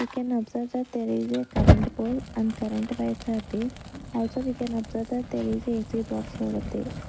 we can observe that there is a current pole and current wires are there also we can observe that there is a A_C box over there.